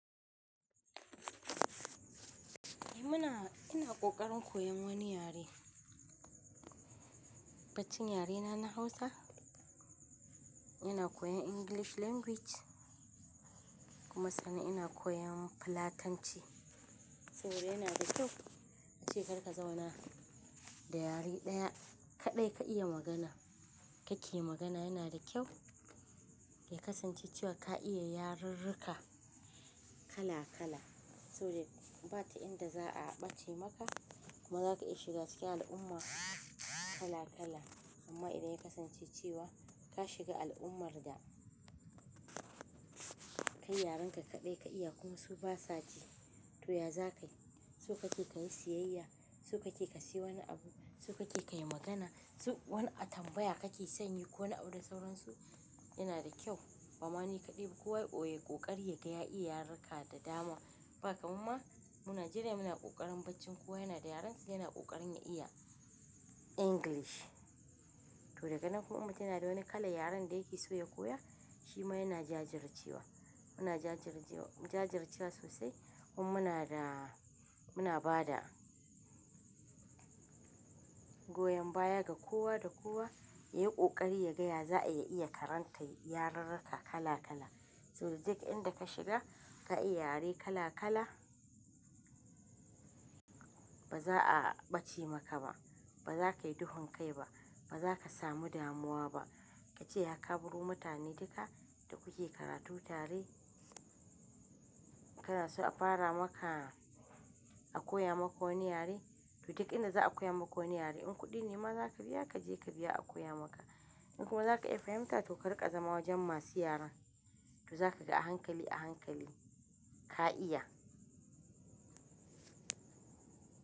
Eh muna, ina kokarin koyan wani yare. Baccin yare na, na Hausa. Ina koyan English language kuma sani ina koyan Fulatanci. Saboda yana da kyau ace kar ka zauna da yare ɗaya kaɗai ka iya magana. Kake magana yana da kyau, ya kasance cewa ka iya yarurruka kala kala saboda bata inda za a ɓaci maka kuma za ka iya shiga cikin al'umma kala kala. Amma idan ya kasance cewa ka shiga al'ummar da kai yarenka kaɗai ka iya kuma su ba sa ji to ya za ka yi? Su kake ka yi siyayya, su kake ka sayi wani abu, su kake ka yi magana, su wani atambaya kake sanyi ko wani audu sauransu yana da kyau. Bamani kaɗai kowa ya koyi kokari yadda ya iya yarurruka da dama. Ba kamma mu Najeriya dai muna kokarin baccin kowa yana da yarensa yana kokarin ya iya English. To daga nan kuma mutum yana da wani kalan yaren da yake so ya koya shi ma yana jajircewa. Muna jajircewa sosai mun muna da, muna bada goyon baya ga kowa da kowa ya yi kokari ya gaya za a iya iya karanta yarurruka kala kala. Saboda duk inda ka shiga ka iya yare kala kala ba za a ɓaci maka ba, ba za ka yi duhun kai ba, ba za ka samu damuwa ba. Ka ce ya ka buri mutane duka da kuke karatu tare kada su a fara maka, a koya maka wani yare. To duk inda za a koya maka wani yare in kuɗi ne ma za ka biya ka je ka biya a koya maka. In kuma za ka iya fahimta to ka riƙa zama wajen masu yaren. To za ka ga a hankali a hankali ka iya.